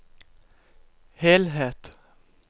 helhet